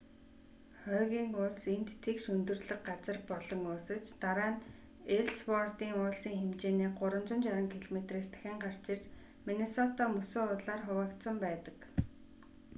хойгийн уулс энд тэгш өндөрлөг газар болон уусаж дараа нь эллсвордын уулсын хэлхээний 360 км-с дахин гарч ирж миннесота мөсөн уулаар хуваагдсан байдаг